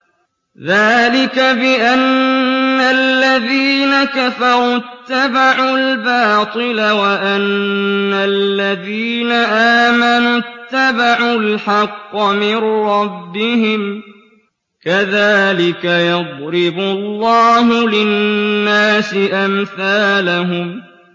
ذَٰلِكَ بِأَنَّ الَّذِينَ كَفَرُوا اتَّبَعُوا الْبَاطِلَ وَأَنَّ الَّذِينَ آمَنُوا اتَّبَعُوا الْحَقَّ مِن رَّبِّهِمْ ۚ كَذَٰلِكَ يَضْرِبُ اللَّهُ لِلنَّاسِ أَمْثَالَهُمْ